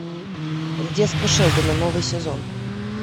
детство шелдона новый сезон